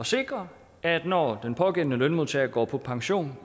sikre at når den pågældende lønmodtager går på pension